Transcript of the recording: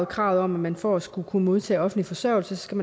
kravet om at man for at skulle kunne modtage offentlig forsørgelse skal